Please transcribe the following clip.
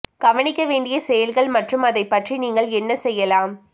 கவனிக்க வேண்டிய செயல்கள் மற்றும் அதைப் பற்றி நீங்கள் என்ன செய்யலாம்